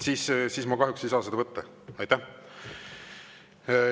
Siis ma kahjuks ei saa seda anda.